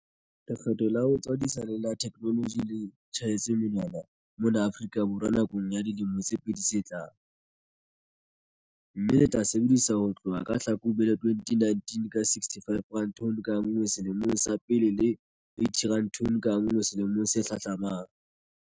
Lekgetho la ho tswadisa le la theknoloji le tjhaetswe monwana mona Afrika Borwa nakong ya dilemo tse pedi tse tlang, mme le tla sebediswa ho tloha ka Hlakubele 2019 ka R65 tone ka nngwe selemong sa pele le R80 tone ka nngwe selemong se hlahlamang.